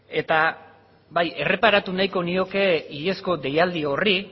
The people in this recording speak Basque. bai erreparatu nahiko nioke iazko deialdi horri